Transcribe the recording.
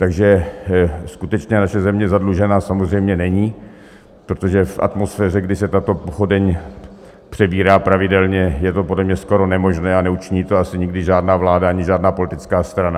Takže skutečně naše země zadlužená samozřejmě není, protože v atmosféře, kdy se tato pochodeň přebírá pravidelně, je to podle mě skoro nemožné a neučiní to asi nikdy žádná vláda ani žádná politická strana.